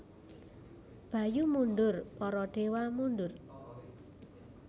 Bayu mundur Para dewa mundur